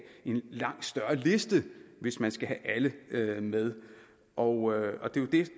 en langt større liste hvis man skal have alle med og det